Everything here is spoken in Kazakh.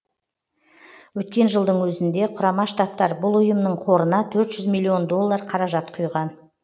өткен жылдың өзінде құрама штаттар бұл ұйымның қорына төрт жүз миллион доллар қаражат құйған